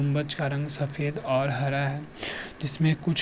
गुंबज का रंग सफेद और हरा है जिसमे कुछ --